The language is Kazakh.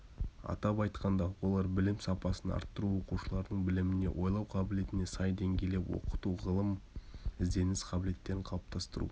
атап айтқанда олар білім сапасын арттыру оқушылардың біліміне ойлау қабілетіне сай деңгейлеп оқыту ғылыми-ізденіс қабілеттерін қалыптастыру